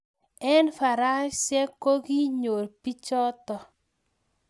Eng faransiek koki nyoor pichoto